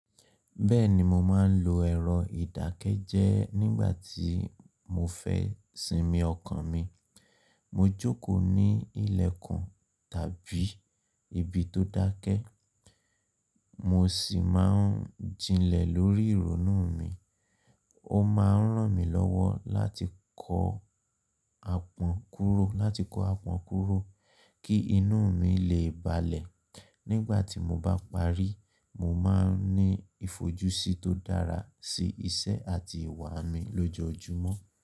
Bẹ́ẹ̀ni, mo máa ń lo ẹ̀rọ ìdákẹ́jẹ́ nígbà tí mo fẹ́ sinmi ọkàn mi. Mo jókòó ní ilẹ̀kùn tàbí ibi tó dákẹ́, mo sì máa ń jinlẹ̀ lórí ìrònú mi. Ó máa ń ràn mí lọ́wọ́ láti kọ apàn kúrò kí inú mi lè balẹ̀. Nígbà tí mo bá parí, mo máa ń ní ìfojúsí tó dára sí iṣẹ́ àti ìwà mi lójoojúmọ́